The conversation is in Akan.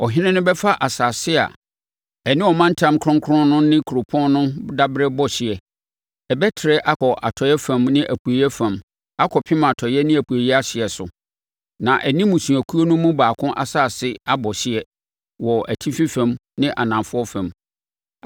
“ ‘Ɔhene no bɛfa asase a ɛne ɔmantam kronkron no ne kuropɔn no daberɛ bɔ hyeɛ. Ɛbɛtrɛ akɔ atɔeɛ fam ne apueeɛ fam akɔpem atɔeɛ ne apueeɛ ahyeɛ so, na ɛne mmusuakuo no mu baako asase abɔ hyeɛ wɔ atifi fam ne anafoɔ fam.